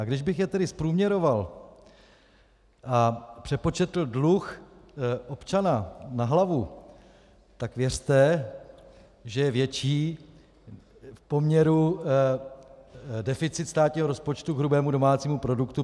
A když bych je tedy zprůměroval a přepočetl dluh občana na hlavu, tak věřte, že je větší v poměru deficit státního rozpočtu k hrubému domácímu produktu.